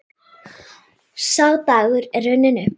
Sá dagur er runninn upp.